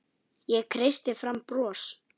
Ég kreisti fram bros.